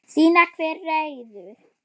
Sýna hver ræður.